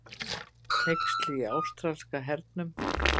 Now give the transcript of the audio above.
Hneyksli í ástralska hernum